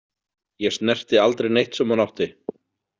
Ég snerti aldrei neitt sem hún átti.